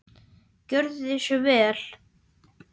Gjörið svo vel!